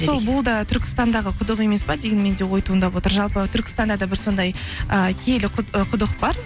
сол бұл да түркістандағы құдық емес пе деген менде ой туындап отыр жалпы түркістанда да бір сондай ыыы киелі ы құдық бар